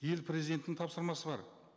ел президентінің тапсырмасы бар